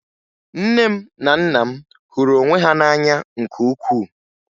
Nne m na nna m hụrụ onwe ha n'anya nke ukwuu